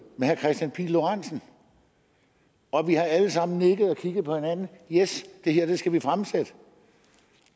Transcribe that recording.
herre kristian pihl lorentzen og vi har alle sammen nikket og kigget på hinanden yes det her skal vi fremsætte